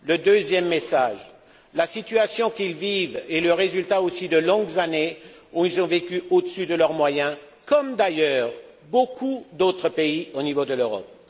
Deuxième message la situation qu'ils vivent est le résultat de longues années où ils ont vécu au dessus de leurs moyens comme d'ailleurs beaucoup d'autres pays d'Europe.